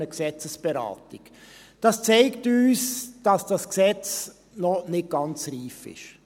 Das zeigt uns, dass dieses Gesetz noch nicht ganz reif ist.